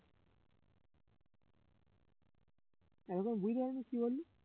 এতক্ষন বুঝতে পারিসনি কি বললি